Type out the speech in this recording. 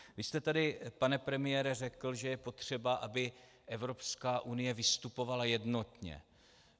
Vy jste tady, pane premiére, řekl, že je potřeba, aby Evropská unie vystupovala jednotně.